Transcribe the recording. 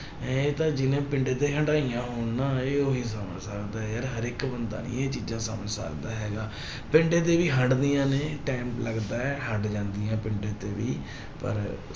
ਇਹ ਤਾਂ ਜਿਹਨੇ ਪਿੰਡੇ ਤੇ ਹੰਡਾਈਆਂ ਹੋਣ ਨਾ, ਇਹ ਉਹੀ ਸਮਝ ਸਕਦਾ ਹੈ ਯਾਰ, ਹਰੇਕ ਬੰਦਾ ਨੀ ਇਹ ਚੀਜ਼ਾ ਸਮਝ ਸਕਦਾ ਹੈਗਾ ਪਿੰਡੇ ਤੇ ਹੀ ਹੰਡਦੀਆਂ ਨੇ time ਲੱਗਦਾ ਹੈ ਹੰਡ ਜਾਂਦੀਆਂ ਪਿੰਡੇ ਤੇ ਵੀ ਪਰ